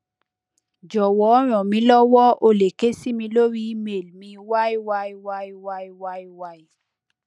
jọwọ ranmilowo o le ke si mi lori email yyyyyyyy